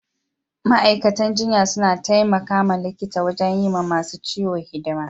Ma'aikatan jinya suna taimaka likita wajen yi ma masun ciwo hidima.